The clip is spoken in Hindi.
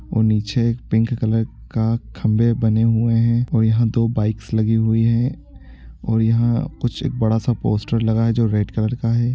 और नीचे एक पिंक कलर का खंभे बने हुए हैं और यहाँ दो बाइक्स लगी हुई हैं और यहाँ कुछ एक बड़ा सा पोस्टर लगा है जो रेड कलर का है।